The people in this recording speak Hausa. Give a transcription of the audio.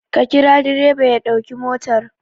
Ka kira direba ya ɗauki motar!